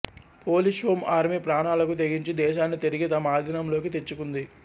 Polish Home Army ప్రాణాలకు తెగించి దేశాన్ని తిరిగి తమ అధీనంలోకి తెచ్చుకుంది